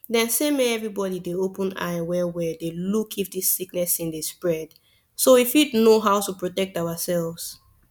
dem say make everybody dey open eye well well dey look if this sickness thing dey spread so we fit know how to protect ourselves